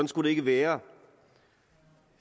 skulle det ikke være